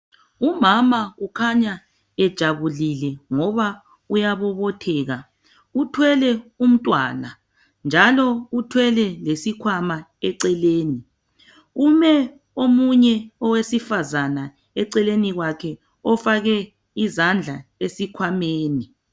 Umama ukhanya ejabulile ngoba uyabobotheka. Uthwele umntwana njalo uthwele lesikhamwa eceleni, kume omunye owesifazana eceleni kwakhe ofake izandla esikhwameni.